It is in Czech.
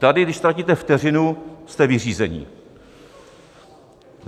Tady když ztratíte vteřinu, jste vyřízeni.